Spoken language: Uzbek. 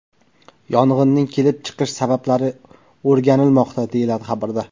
Yong‘inning kelib chiqish sabablari o‘rganilmoqda, deyiladi xabarda.